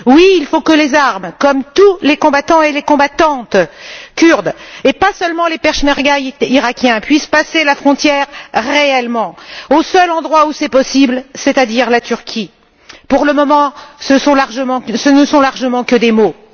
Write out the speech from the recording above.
Il faut que les armes, comme tous les combattants et les combattantes kurdes, et pas seulement les pechmergas iraquiens, puissent passer la frontière réellement, au seul endroit où c'est possible, c'est à dire la Turquie. Pour le moment, ce ne sont largement que des mots.